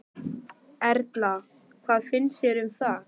Erla: Hvað finnst þér um það?